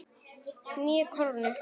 Níu krónur?